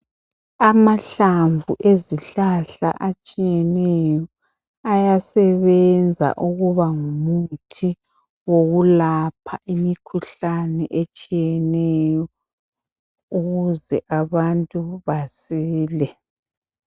Amahlamvu ezihlahla atshiyeneyo ayasebenza ukuba ngumuthi wokulapha imikhuhlane etshiyeneyo ukuze abantu basile